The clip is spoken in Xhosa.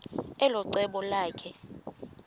elo cebo lakhe